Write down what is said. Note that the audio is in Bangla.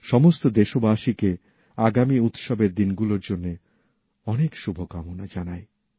সমস্ত দেশবাসীকে আগামী উৎসবের দিনগুলোর জন্যে অনেক শুভকামনা জানাই